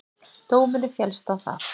Dómurinn féllst á það